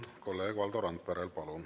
Palun!